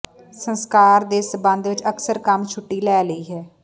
ਸੰਸਕਾਰ ਦੇ ਸੰਬੰਧ ਵਿਚ ਅਕਸਰ ਕੰਮ ਛੁੱਟੀ ਲੈ ਲਈ ਹੈ